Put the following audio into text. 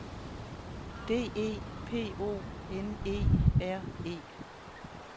D E P O N E R E